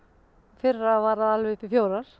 fyrra var það allt upp í fjórar